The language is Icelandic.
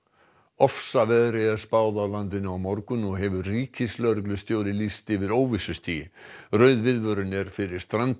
ofsaveðri er spáð á landinu á morgun og hefur ríkislögreglustjóri lýst yfir óvissustigi rauð viðvörun er fyrir Strandir